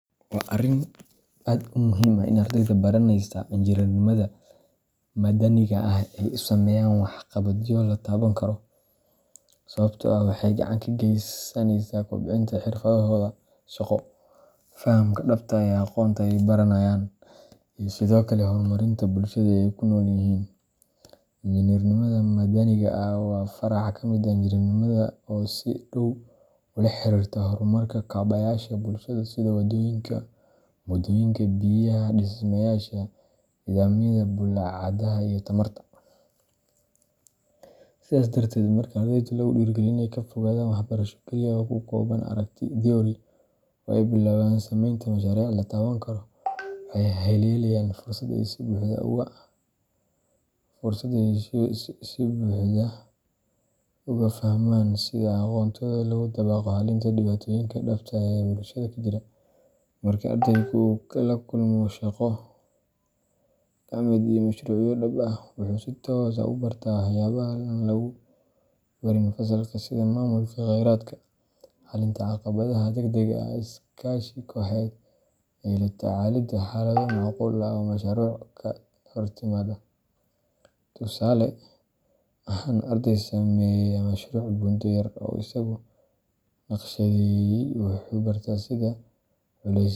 Waa arrin aad muhiim u ah in ardayda baranaysa injineernimada madaniga ah ay sameeyaan waxqabadyo la taaban karo, sababtoo ah waxay gacan ka geysanaysaa kobcinta xirfadahooda shaqo, fahamka dhabta ah ee aqoonta ay baranayaan, iyo sidoo kale horumarinta bulshada ay ku nool yihiin. Injineernimada madaniga ah waa farac ka mid ah injineernimada oo si dhow ula xiriirta horumarka kaabayaasha bulshada sida waddooyinka, buundooyinka, biyaha, dhismayaasha, nidaamyada bulaacadaha iyo tamarta. Sidaas darteed, marka ardayda lagu dhiirrigeliyo inay ka fogaadaan waxbarasho keliya oo ku kooban aragti theory oo ay bilaabaan samaynta mashaariic la taaban karo, waxay helayaan fursad ay si buuxda ugu fahmaan sida aqoontooda loogu dabaqo xalinta dhibaatooyinka dhabta ah ee bulshada ka jira. Marka ardaygu uu la kulmo shaqo gacmeed iyo mashruucyo dhab ah, wuxuu si toos ah u bartaa waxyaabaha aan lagu barin fasalka sida maamulka khayraadka, xallinta caqabadaha degdegga ah, iskaashi kooxeed, iyo la tacaalidda xaalado macquul ah oo mashruuca ka hortimaada. Tusaale ahaan, arday sameeya mashruuc buundo yar oo isagu naqshadeeyay wuxuu bartaa sida culaysyada.